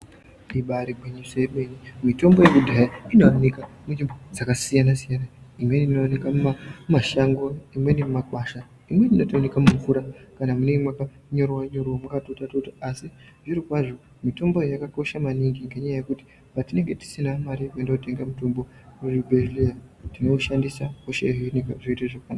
Ibari gwinyiso remene mitombo yekudhaya inooneka munzvimbo dzakasiyanasiyana imweni inooneka mushango ,imweni mumakwasha ,imweni inotooneke mumvura ,kana munenge mwakonyorowa-nyorowa mwakatota-tota asi zvirokwazvo mitombo yo yakakosha maningi ngenyaya yekuti patinenge tisina mare yekuenda kotenga mutombo kuzvibhehleya tinoshandisa mitombo yo zvoita zvakanaka.